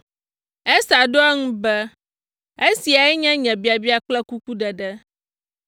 Ester ɖo eŋu be, “Esiae nye nye biabia kple kukuɖeɖe.